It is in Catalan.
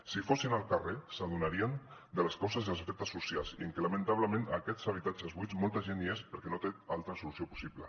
si fossin al carrer s’adonarien de les causes i els efectes socials i que lamentablement en aquests habitatges buits molta gent hi és perquè no té altra solució possible